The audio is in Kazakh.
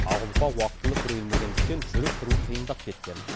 ақ ұлпа уақытылы күрелмегендіктен жүріп тұру қиындап кеткен